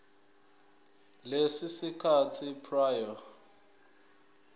leso sikhathi prior